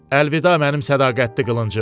Əlvida mənim sədaqətli qılıncım.